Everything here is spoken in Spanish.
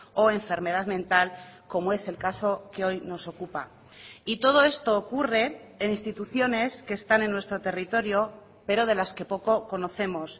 o enfermedad mental como es el caso que hoy nos ocupa y todo esto ocurre en instituciones que están en nuestro territorio pero de las que poco conocemos